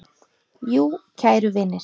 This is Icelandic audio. Jú, kæru vinir.